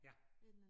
Ja